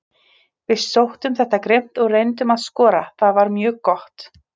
Við sóttum þetta grimmt og reyndum að skora, það var mjög gott.